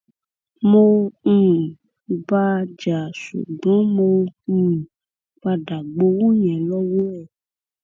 mo um bá a jà ṣùgbọn mo um padà gbowó yẹn lọwọ ẹ